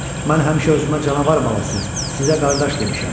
Mən həmişə özümə canavar balası, sizə qardaş demişəm.